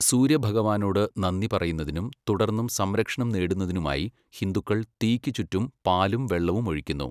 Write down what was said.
സൂര്യഭഗവാനോട് നന്ദി പറയുന്നതിനും തുടർന്നും സംരക്ഷണം തേടുന്നതിനുമായി, ഹിന്ദുക്കൾ തീയ്ക്ക് ചുറ്റും പാലും വെള്ളവും ഒഴിക്കുന്നു.